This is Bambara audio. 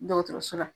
Dɔgɔtɔrɔso la